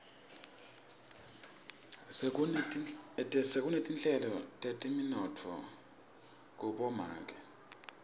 sekunetinhlelo teteminotfo kumaboakudze